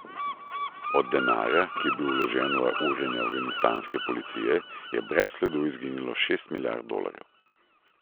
Od denarja, ki je bil vložen v urjenje afganistanske policije, je brez sledu izginilo šest milijard dolarjev.